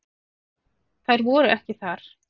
Þær voru ekki þar.